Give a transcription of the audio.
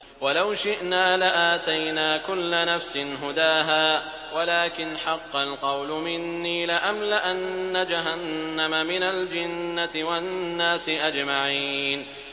وَلَوْ شِئْنَا لَآتَيْنَا كُلَّ نَفْسٍ هُدَاهَا وَلَٰكِنْ حَقَّ الْقَوْلُ مِنِّي لَأَمْلَأَنَّ جَهَنَّمَ مِنَ الْجِنَّةِ وَالنَّاسِ أَجْمَعِينَ